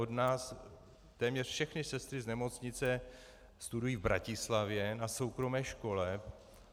Od nás téměř všechny sestry z nemocnice studují v Bratislavě na soukromé škole.